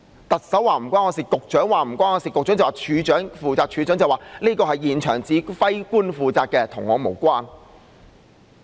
特首說與她無關、局長說與他無關、局長說處長負責、處長說這是現場指揮官負責，與他無關。